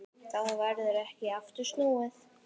Þá verður ekki aftur snúið.